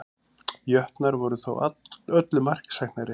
Jötnar voru þó öllu marksæknari